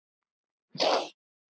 Hvað felst í þessu?